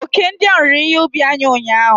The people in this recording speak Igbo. Oke ndị ahụ riri ihe ubi anyị ụnyahụ.